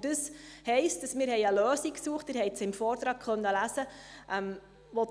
Das heisst, dass wir eine Lösung gesucht haben, welche